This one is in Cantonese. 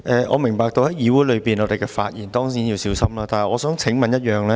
我明白在議會內發言當然要小心，但我想提出一個問題。